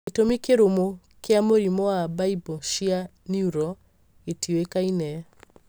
Gĩtũmi kĩrũmu kĩa mũrimũ wa baibũ cia neural gĩtiũĩkaine.